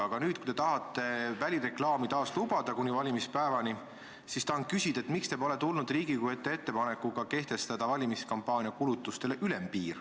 Aga kui te nüüd tahate välireklaami kuni valimispäevani taas lubada, siis tahan küsida, et miks te pole tulnud Riigikogu ette ettepanekuga kehtestada valimiskampaania kulutustele ülempiir.